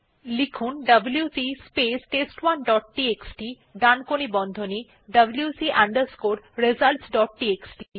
লিখুন WC space test one dot TXT ডানকোণী বন্ধনী wc results ডট টিএক্সটি